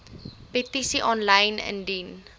petisies aanlyn indien